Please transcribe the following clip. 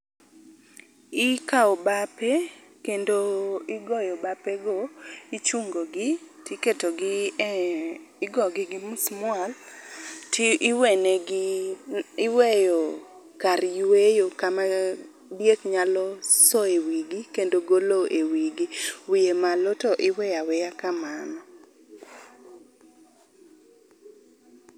ikao bape kendo igoyo bape go. ichungo gi tiketo gi e igogi gi musmwal to iwenegi, iweyo kar yweyo kama diek nyalo soe wigi, kendo golo e wigi, wiye malo to iweyaweya kamano.